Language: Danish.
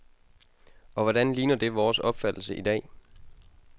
Og hvordan ligner det vores opfattelse i dag?